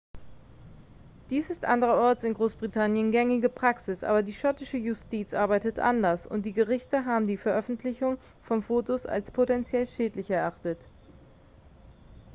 dies ist anderenorts in großbritannien gängige praxis aber die schottische justiz arbeitet anders und die gerichte haben die veröffentlichung von fotos als potenziell schädlich erachtet